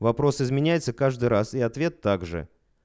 вопрос изменяется каждый раз и ответ также